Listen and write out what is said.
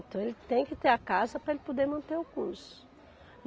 Então, ele tem que ter a casa para ele poder manter o curso.